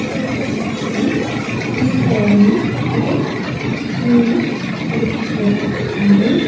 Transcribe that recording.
கொளத்தை சுத்தி கம்பிகளால் ஆன ஒரு சின்ன தடுப்பு சுவர் போட்ருக்காங்க.